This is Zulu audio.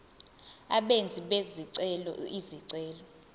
abenzi bezicelo izicelo